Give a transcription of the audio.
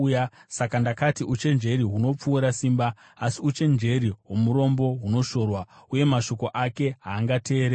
Saka ndakati, “Uchenjeri hunopfuura simba.” Asi uchenjeri hwomurombo hunoshorwa uye mashoko ake haangateererwi.